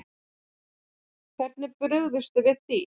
Hvernig er brugðist við því?